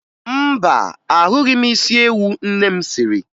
Mba, ahụghị m isi ewu nne m siri